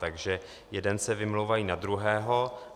Takže jeden se vymlouvá na druhého.